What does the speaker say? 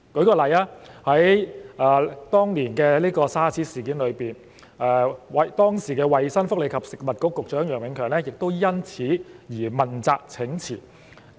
以當年的 SARS 事件為例，時任衞生福利及食物局局長楊永強因此而問責請辭。